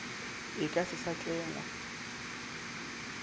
e ka se sa tlengwa